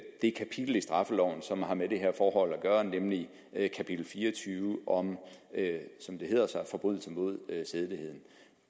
det kapitel i straffeloven som har med det her forhold at gøre nemlig kapitel fire og tyve om som det hedder forbrydelser mod sædeligheden